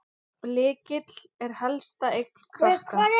Lykill er helsta eign Klakka.